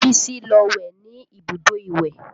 Bísí lọ wẹ̀ ní ibùdó ìwẹ̀